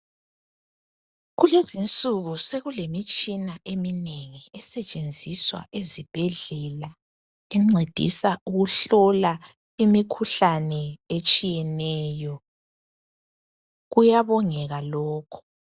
Kulezinsuku sokulemitshina eminengi esetshenziswa ezibhedlela encedisa ukuhlola imikhuhlane etshiyeneyo. Kuyabongeka lokhu.